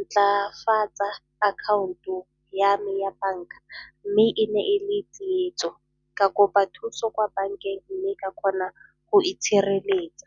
ntlafatsa account-o ya me ya banka mme e ne e le tsietso, ka kopa thuso kwa bankeng mme ka kgona go itshireletsa.